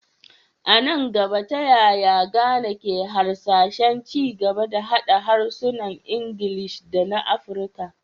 A nan gaba, ta yaya Ghana ke hasashen ci gaba da haɗa harsunan Ingilishi da na Afirka?